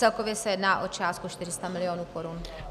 Celkově se jedná o částku 400 mil. korun.